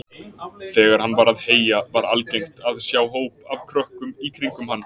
Þegar hann var að heyja var algengt að sjá hóp af krökkum í kringum hann.